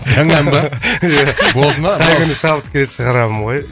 жаңа ән ба қай күні шабыт келеді шығарамын ғой